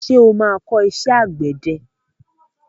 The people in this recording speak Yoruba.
Ṣé o má kọ́ṣẹ́ àgbẹ̀ ẹ?